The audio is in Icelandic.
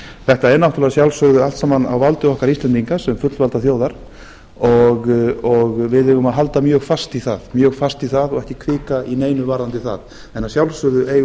þetta er náttúrlega að sjálfsögðu allt saman á valdi okkar íslendinga sem fullvalda þjóðar og við eigum að halda mjög fast í það og ekki hvika í neinu varðandi það en að sjálfsögðu eigum